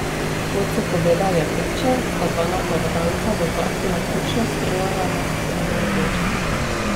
Kot so povedale priče, sta dva napadalca v parku naključno streljala na mimoidoče.